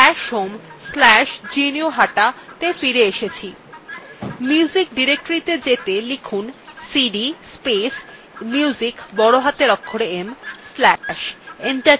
এখন music directoryত়ে যেতে লিখুন cd space music বড় হাতের অক্ষরে m slash enter tipun